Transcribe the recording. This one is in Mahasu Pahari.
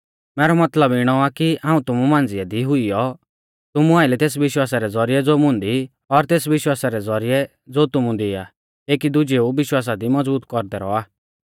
मैरौ मतलब इणौ आ कि हाऊं तुमु मांझ़िऐ दी हुइयौ तुमु आइलै तेस विश्वासा रै ज़ौरिऐ ज़ो मुंदी और तेस विश्वासा रै ज़ौरिऐ ज़ो तुमु दी आ एकी दुजेऊ विश्वासा दी मज़बूत कौरदै रौआ